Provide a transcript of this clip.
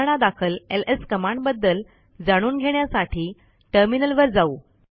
उदाहरणादाखल एलएस कमांडबद्दल जाणून घेण्यासाठी टर्मिनल वर जाऊ